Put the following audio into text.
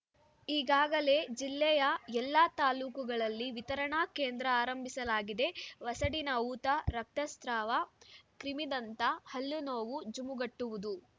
ಈಗಾಗಲೇ ಜಿಲ್ಲೆಯ ಎಲ್ಲಾ ತಾಲೂಕುಗಳಲ್ಲಿ ವಿತರಣಾ ಕೇಂದ್ರ ಆರಂಭಿಸಲಾಗಿದೆ ವಸಡಿನ ಊತ ರಕ್ತಸ್ರಾವ ಕ್ರಿಮಿದಂತ ಹಲ್ಲುನೋವು ಜುಮುಗುಟ್ಟುವುದು